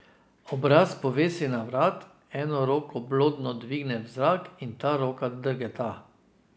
Obraz povesi na vrat, eno roko blodno dvigne v zrak in ta roka drgeta.